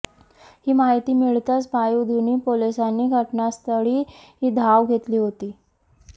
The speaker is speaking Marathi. ही माहिती मिळताच पायधुनी पोलिसांनी घटनास्थळी धाव घेतली होती